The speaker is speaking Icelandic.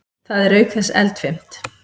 Það er auk þess eldfimt.